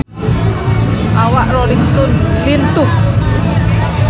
Awak Rolling Stone lintuh